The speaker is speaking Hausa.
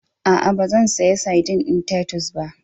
A'a, ba zan saya sadin ɗin Tatus ba.